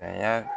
A y'a